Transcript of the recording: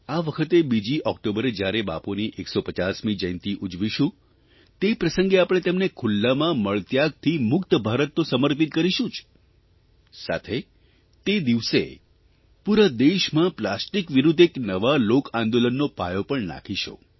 આ વખતે બીજી ઓકટોબરે જ્યારે બાપુની 150મી જયંતિ ઉજવીશું તે પ્રસંગે આપણે તેમને ખુલ્લામાં મળત્યાગથી મુક્ત ભારત તો સમર્પિત કરીશું જ સાથે તે દિવસે પૂરા દેશમાં પ્લાસ્ટિક વિરૂદ્ધ એક નવા લોકઆંદોલનનો પાયો પણ નાંખીશું